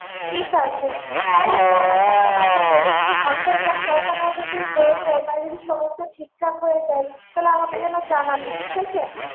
ঠিক আছে তাহলে শোন আমি একটা কথা বলি অন্তর্জাল বসানো যদি হয়ে যায় তাহলে যদি সমস্ত ঠিকঠাক হয়ে যায় তাহলে আমাকে একবার জানাবি ঠিক আছে?